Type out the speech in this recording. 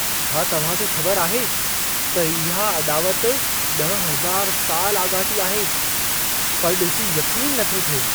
छा तव्हां खे ख़बर आहे त इहा अॾावत 10000 साल आॻाटी आहे? पर ॾिसी यक़ीन नथो थिए।